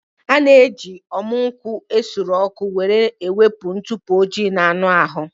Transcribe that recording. A na-eji ọmụ nkwụ esuru ọkụ were ewepụ ntụpọ ojii na anụ ahụ